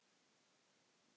Gekk hart fram.